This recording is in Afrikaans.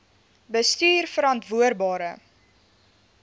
bestuurverantwoordbare